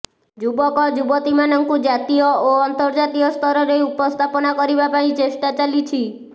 ଯୁବକ ଯୁବତୀମାନଙ୍କୁ ଜାତୀୟ ଓ ଅନ୍ତର୍ଜାତୀୟ ସ୍ତରରେ ଉପସ୍ଥାପନା କରିବା ପାଇଁ ଚେଷ୍ଟା ଚାଲିଛି